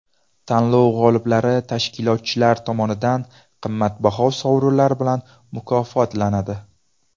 Tanlov g‘oliblari tashkilotchilar tomonidan qimmatbaho sovrinlar bilan mukofotlanadi.